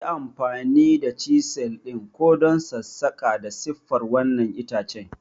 Yi amfani da chisel ɗin ka don sassaƙa da siffar wannan itace!